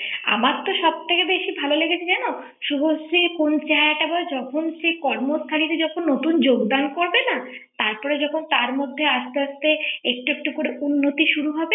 আমার তো সব থেকে বেশি ভালো লেগেছে জানো শুভশ্রীর কোন চেহারাটা আবার যখন সে কর্মস্থালিতে যখন নতুন যোগদান করবে না তারপরে যখন তার মধ্যে আস্তে আস্তে একটু একটু করে উন্নতি শুরু হবে ৷